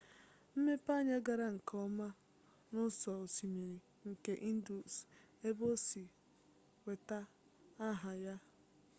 mmepeanya gara nke ọma n'ụsọ osimiri nke indus ebe o si nweta aha ya